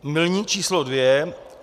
Milník číslo dvě.